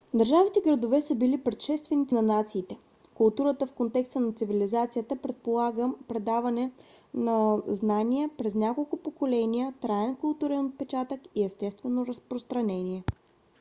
държавите-градове са били предшественици на нациите. културата в контекста на цивилизацията предполага предаване на знания през няколко поколения траен културен отпечатък и естествено разпространение